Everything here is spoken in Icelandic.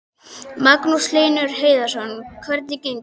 Magnús Hlynur Hreiðarsson: Hvernig gengur?